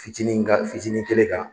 Fitinin kan fitinin kelen kan.